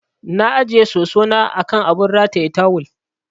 Na ajiye soso na a kan abun rataye tawul.